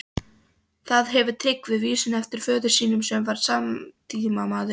Þar hefur Tryggvi vísuna eftir föður sínum, sem var samtímamaður